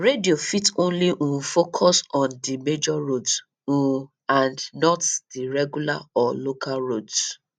radio fit only um focus on di major roads um and not the regular or local roads